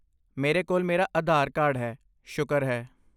ਮੇਰੇ ਕੋਲ ਮੇਰਾ ਆਧਾਰ ਕਾਰਡ ਹੈ, ਸ਼ੁਕਰ ਹੈ।